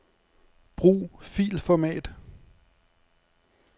Brug filformat.